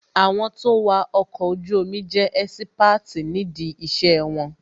Àwọn tó ń wà ọkọ̀ ojú omi jẹ́ ẹ́sípáàtì ní dí ìṣe wọn